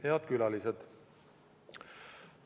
Head külalised!